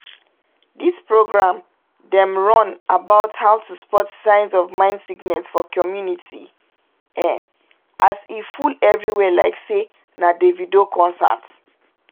dis program dem run about how to spot signs of mind sickness for community **ehn! as e full everywhere like say na davido concert